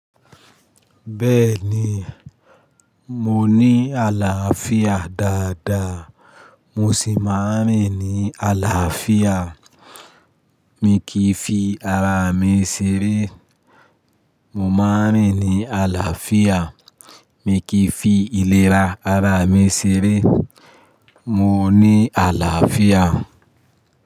Bẹ́ẹ̀ni, mo ní àlàáfíà dáadáa. Mo sì máa rìn ní àlàáfíà. Mi kì í fi ara mi ṣeré. Mo máa rìn ní àlàáfíà. Mi kì í fi ìlera ara mi ṣeré. Mo ní àlàáfíà.